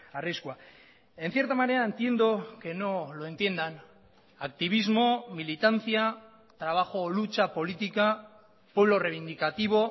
arriskua en cierta manera entiendo que no lo entiendan activismo militancia trabajo o lucha política pueblo reivindicativo